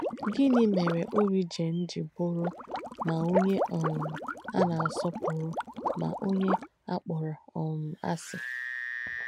Gìnì mère Origen jì bùrù mà onyè um á nà-àsọ̀pūrū mà onyè á kpọ̀rọ̀ um àsị̀?